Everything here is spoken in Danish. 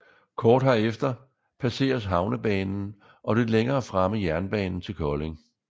Kort herefter passeres havnebanen og lidt længere fremme jernbanen til Kolding